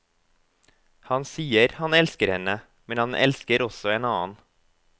Han sier han elsker henne, men han elsker også en annen.